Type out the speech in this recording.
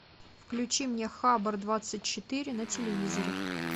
включи мне хабар двадцать четыре на телевизоре